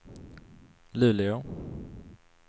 Luleå